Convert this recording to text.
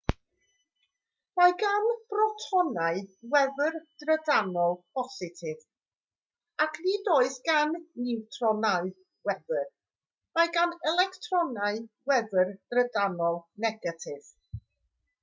mae gan brotonau wefr drydanol bositif ac nid oes gan niwtronau wefr mae gan electronau wefr drydanol negatif